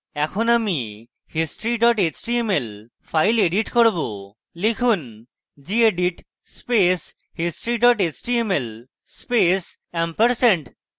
এখন আমি history html file edit করব লিখুন: gedit space history html space ampersand